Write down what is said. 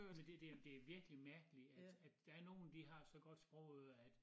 Men det det det virkelig mærkeligt at at der nogen de har så godt sprogøre at